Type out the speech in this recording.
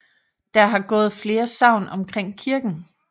Der har gået flere sagn omkring kirken